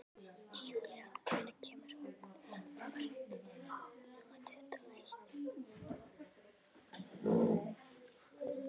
Júlían, hvenær kemur vagn númer tuttugu og eitt?